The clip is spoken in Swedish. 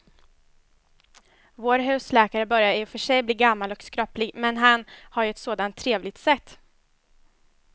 Vår husläkare börjar i och för sig bli gammal och skröplig, men han har ju ett sådant trevligt sätt!